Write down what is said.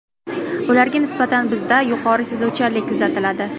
Ularga nisbatan bizda yuqori sezuvchanlik kuzatiladi.